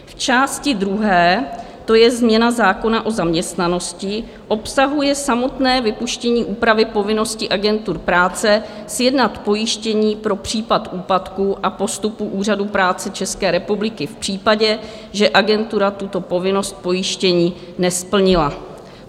V části druhé, to je změna zákona o zaměstnanosti, obsahuje samotné vypuštění úpravy povinnosti agentur práce sjednat pojištění pro případ úpadku a postupu Úřadu práce České republiky v případě, že agentura tuto povinnost pojištění nesplnila.